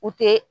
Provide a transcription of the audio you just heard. U tɛ